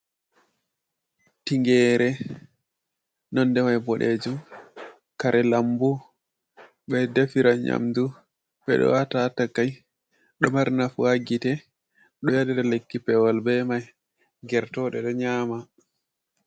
Tingeere nonɗemai boɗejum. kare lambu. Be ɗefira nyamɗu, beɗo wata ha takai. Ɗo mari nafu ha gite. Be waɗira lekki pewal be mai. gertoɗe ɗo nyama.